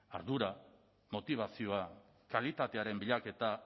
ardura motibazioa kalitatearen bilaketa